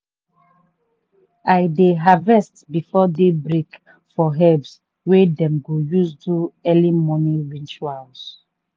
i dey harvest before day break for herbs wey dem go use do early morning ritual.